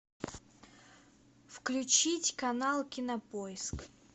включить канал кинопоиск